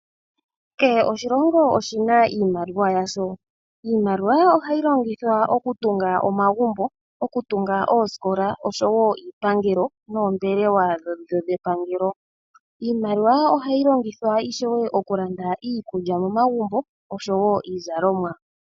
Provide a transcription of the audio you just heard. Kehe oshilongo oshina iimaliwa yaasho, iimaliwa ohayi longithwa okutunga omagumbo, okutunga oosikola , osho woo iipangelo noombelewa dhepangelo. Iimaliwa ohayi longithwa ishewe okulanda iikulya momagumbo nosho woo iizalomwa.